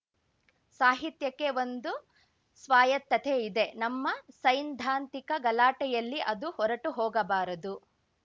ಸಾಹಿತ್ಯಕ್ಕೆ ಒಂದು ಸ್ವಾಯತ್ತತೆ ಇದೆ ನಮ್ಮ ಸೈನ್ದಾಂತಿಕ ಗಲಾಟೆಯಲ್ಲಿ ಅದು ಹೊರಟುಹೋಗಬಾರದು